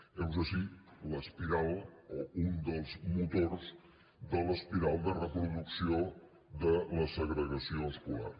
heus ací l’espiral o un dels motors de l’espiral de la reproducció de la segregació escolar